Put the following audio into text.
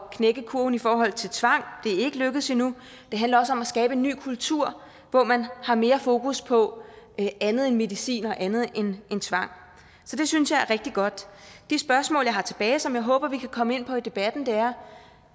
knække kurven i forhold til tvang det er ikke lykkedes endnu det handler også om at skabe en ny kultur hvor man har mere fokus på andet end medicin og andet end tvang så det synes jeg er rigtig godt det spørgsmål jeg har tilbage og som jeg håber at vi kan komme ind på i debatten er